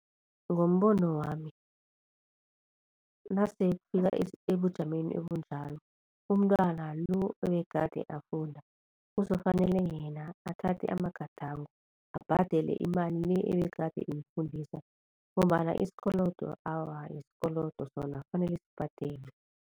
Ngombono wami nasekufika ebujameni obunjalo umntwana lo ebegade afunda kuzokufanele yena athathe amagadango abhadele imali le ebegade imfundisa ngombana isikolodo, awa isikolodo sona kufanele sibhadelwe.